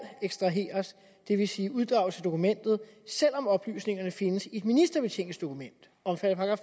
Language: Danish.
ekstraheres det vil sige uddrages af dokumentet selv om oplysningerne findes i et ministerbetjeningsdokument omfattet af